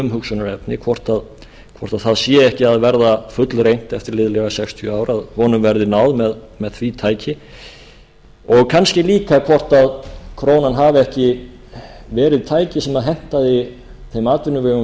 umhugsunarefni hvort það sé ekki að verða fullreynt eftir liðlega sextíu ár að honum verði náð með því tæki og kannski líka hvort krónan hafi ekki verið tæki sem hentaði þeim atvinnuvegum